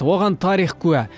оған тарих куә